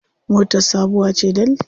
Motar sabuwa ce dal.